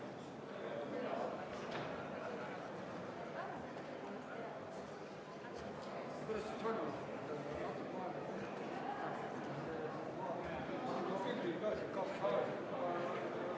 Riigikogu liige märgistab hääletamissedelil ristiga lahtri selle kandidaadi nime juures, kelle poolt ta hääletab.